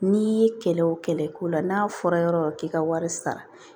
N'i ye kɛlɛ o kɛlɛ ko la n'a fɔra yɔrɔ yɔrɔ k'i ka wari sara